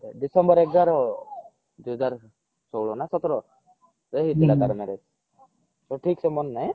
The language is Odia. ଡିସେମ୍ବର ଏଗାର ଦୁଇ ହଜାର ଚଉଦ ନ ସତର ରେ ହେଇଥିଲା ତାର marriage ତ ଠିକ ସେ ମାନେ ନାହିଁ